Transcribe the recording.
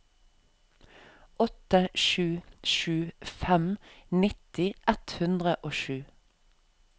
åtte sju sju fem nitti ett hundre og sju